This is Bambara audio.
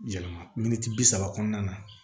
Yɛlɛma min tɛ bi saba kɔnɔna na